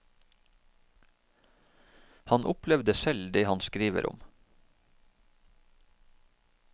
Han opplevde selv det han skriver om.